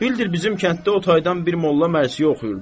Bildir bizim kənddə o taydan bir molla mərsiyə oxuyurdu.